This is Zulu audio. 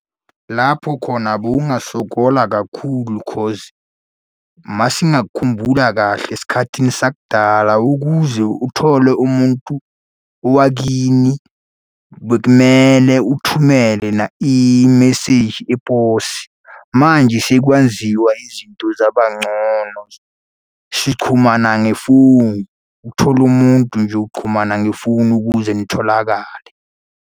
Lapho khona bowungasokola kakhulu cause uma singakhumbula kahle esikhathini sakudala, ukuze uthole umuntu owakini, bekumele uthumele imeseji yeposi. Manje sekwenziwa izinto zaba ngcono. Sichumana ngefonu ukuthola umuntu nje uxhumana ngefonu ukuze nitholakale.